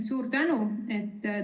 Suur tänu!